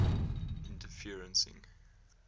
interferencing